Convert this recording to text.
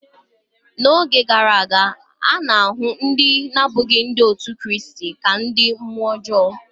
N’oge gara aga, a na-ahụ ndị na-abụghị Ndị otu Kraịst ka ndị mmụọ ọjọọ.